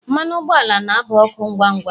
mmanụ ụgbọala na aba ọkụ ngwa ngwa